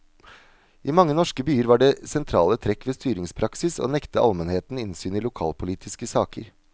I mange norske byer var det sentrale trekk ved styringspraksis å nekte almenheten innsyn i lokalpolitiske saker.